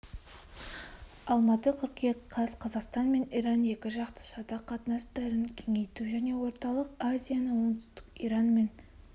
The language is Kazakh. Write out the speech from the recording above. алматы қыркүйек қаз қазақстан мен иран екі жақты сауда қатынастарын кеңейту және орталық азияны оңтүстік иранмен